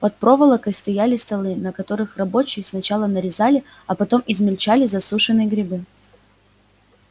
под проволокой стояли столы на которых рабочие сначала нарезали а потом измельчали засушенные грибы